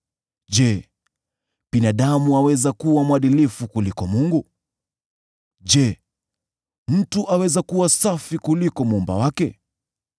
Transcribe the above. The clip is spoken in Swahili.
‘Je, binadamu aweza kuwa mwadilifu kuliko Mungu? Je, mtu aweza kuwa safi kuliko Muumba wake?